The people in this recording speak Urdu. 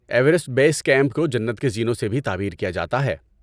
ایورسٹ بیس کیمپ کو جنت کے زینوں سے بھی تعبیر کیا جاتا ہے۔